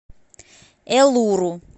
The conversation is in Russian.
элуру